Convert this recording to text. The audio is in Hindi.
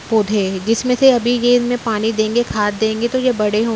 पौधे जिसमें से अभी ये इनमे पानी देंगे खाद देंगे तो ये बड़े होंगे |